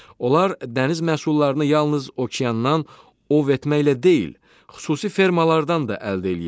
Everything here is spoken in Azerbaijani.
Onlar dəniz məhsullarını yalnız okeandan ov etməklə deyil, xüsusi fermalardan da əldə eləyirlər.